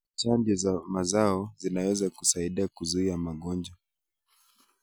Chanjo za mazao zinaweza kusaidia kuzuia magonjwa.